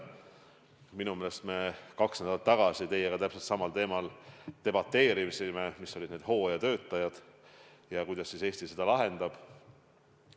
Minu meelest me kaks nädalat tagasi teiega samal teemal debateerisime: mis saab nendest hooajatöötajatest, kuidas Eesti selle probleemi lahendab.